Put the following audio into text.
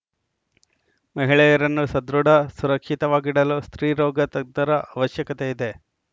ಮಹಿಳೆಯರನ್ನು ಸದೃಢ ಸುರಕ್ಷಿತವಾಗಿಡಲು ಸ್ತ್ರೀರೋಗ ತಜ್ಞರ ಅವಶ್ಯಕತೆ ಇದೆ